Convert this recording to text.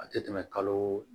A tɛ tɛmɛ kalo